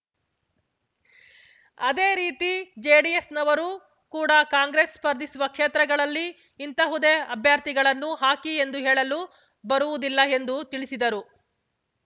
ಅದೇ ರೀತಿ ಜೆಡಿಎಸ್‌ನವರೂ ಕೂಡ ಕಾಂಗ್ರೆಸ್ ಸ್ಪರ್ಧಿಸುವ ಕ್ಷೇತ್ರಗಳಲ್ಲಿ ಇಂತಹುದ್ದೇ ಅಭ್ಯರ್ಥಿಗಳನ್ನು ಹಾಕಿ ಎಂದು ಹೇಳಲು ಬರುವುದಿಲ್ಲ ಎಂದು ತಿಳಿಸಿದರು